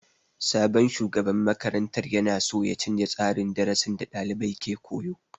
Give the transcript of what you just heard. Sabon shugaban makarantar ya na so ya canja tsarin darasin da dalibai ke koyo.